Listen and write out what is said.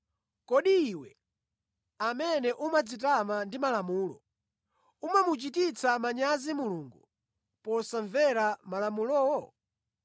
Kodi iwe amene umadzitama ndi Malamulo, umamuchititsa manyazi Mulungu posamvera Malamulowo?